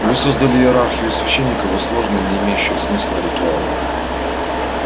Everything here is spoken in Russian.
вы создали иерархию священников и сложные не имеющие смысла ритуалы